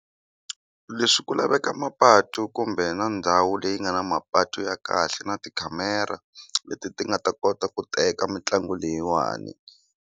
Leswi ku laveka mapatu kumbe na ndhawu leyi nga na mapatu ya kahle na tikhamera leti ti nga ta kota ku teka mitlangu leyiwani.